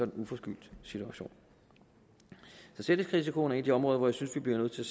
uforskyldt situation så selvrisikoen er et af de områder hvor jeg synes vi bliver nødt til